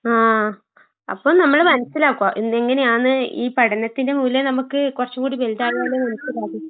ആഹ് അപ്പം നമ്മള് മനസ്സിലാക്കുവ എന്തെങ്ങനെയാന്ന് ഈ പഠനത്തിന്റെ മൂല്യം നമ്മക്ക് കൊറച്ചുങ്കൂടി വലുതായാലേ നമുക്ക് ഇതറിയൂ